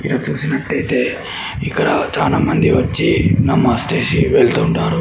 ఇక్కడ చూసినట్టయితే ఇక్కడ చాలామంది వచ్చి నమాజ్ చేసి వెళ్తుంటారు.